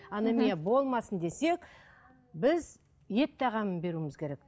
анемия болмасын десек біз ет тағамын беруіміз керек